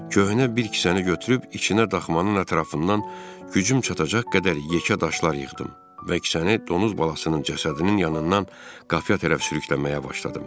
Köhnə bir kisəni götürüb içinə daxmanın ətrafından gücüm çatacaq qədər yekə daşlar yığdım və kisəni donuz balasının cəsədinin yanından qapıya tərəf sürükləməyə başladım.